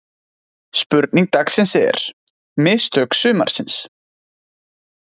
Spurning dagsins er: Mistök sumarsins?